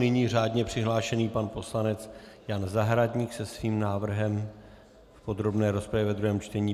Nyní řádně přihlášený pan poslanec Jan Zahradník se svým návrhem do podrobné rozpravy ve druhém čtení.